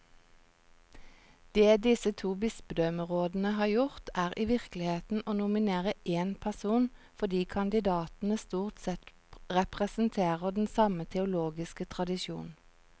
Det disse to bispedømmerådene har gjort, er i virkeligheten å nominere én person, fordi kandidatene stort sett representerer den samme teologiske tradisjon.